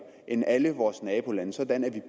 end alle vores nabolande sådan at vi